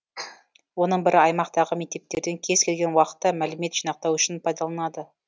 оның бірі аймақтағы мектептерден кез келген уақытта мәлімет жинақтау үшін пайдаланылады